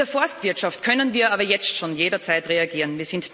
In der Forstwirtschaft können wir aber jetzt schon jederzeit reagieren.